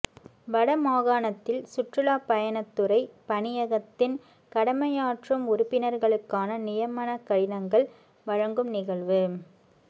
வடமாகாணத்தில் சுற்றுலாப் பயணத்துறை பணியகத்தின் கடமையாற்றும் உறுப்பினர்களுக்கான நியமனக்கடிதங்கள் வழங்கும் நிகழ்வு